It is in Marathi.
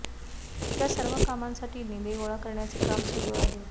त्या सर्व कामांसाठी निधी गोळा करण्याचे काम सुरू आहे